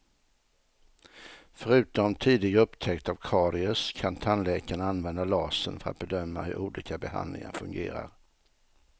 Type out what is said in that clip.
Förutom tidig upptäckt av karies kan tandläkarna använda lasern för att bedöma hur olika behandlingar fungerar.